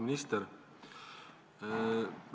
Auväärt minister!